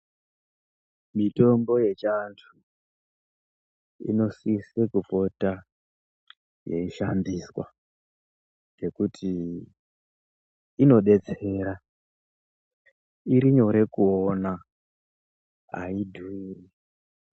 Mitombo yechiantu inosise kupota yeishandiswa nekuti inobetsera irinyore kuona haidhuri .